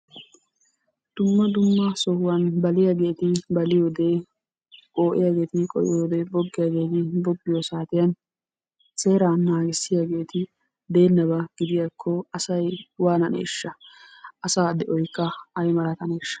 Dumma dumma sohuwan baliyageeti baliyode, qoo'iyageeti qoo'iyode, boggiyageeti boggiyo saatiyan seeraa naagissiyageeti de'ennaba gidiyakko asay waananeeshsha? Asaa de'oykka ay malataneeshsha?